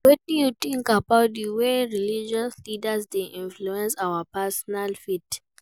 Wetin you think about di way wey religious leaders dey influence our personal faith?